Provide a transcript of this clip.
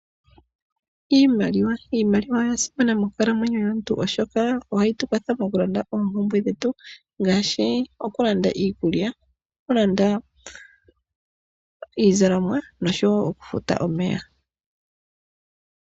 Iimaliwa, imaaliwa oya simana monkalamwenyo yomuntu oshoka ohayi tu kwatha moku landa oompumbwe dhetu, ngaashi oku landa iikulya, oku landa iizalomwa, noshowo okufuta omeya.